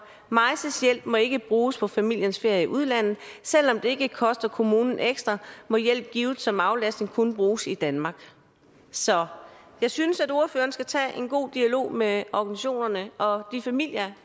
maises hjælp må ikke bruges på familiens ferie i udlandet selv om det ikke koster kommunen ekstra må hjælp givet som aflastning kun bruges i danmark så jeg synes at ordføreren skal få en god dialog med organisationerne og de familier